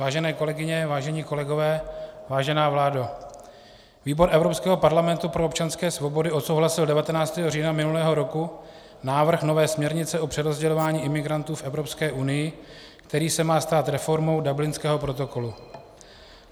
Vážené kolegyně, vážení kolegové, vážená vládo, výbor Evropského parlamentu pro občanské svobody odsouhlasil 19. října minulého roku návrh nové směrnice o přerozdělování imigrantů v Evropské unii, který se má stát reformou Dublinského protokolu.